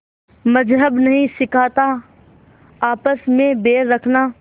मज़्हब नहीं सिखाता आपस में बैर रखना